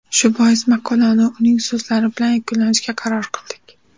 Shu bois, maqolani uning so‘zlari bilan yakunlashga qaror qildik.